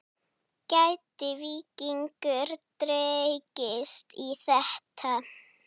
Gæti Víkingur dregist í þetta?